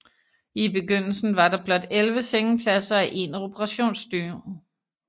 I begyndelsen var der blot 11 sengepladser og én operationsstue